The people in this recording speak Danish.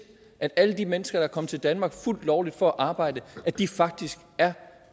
at alle de mennesker der er kommet til danmark fuldt lovligt for at arbejde faktisk er